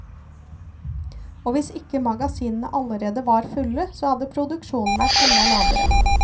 Og hvis ikke magasinene allerede var fulle, så hadde produksjonen vært enda lavere.